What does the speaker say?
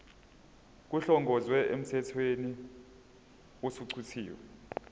kuhlongozwe emthethweni osuchithiwe